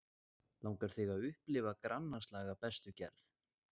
Langar þig að upplifa grannaslag af bestu gerð?